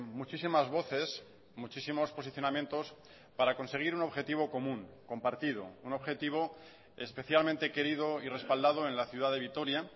muchísimas voces muchísimos posicionamientos para conseguir un objetivo común compartido un objetivo especialmente querido y respaldado en la ciudad de vitoria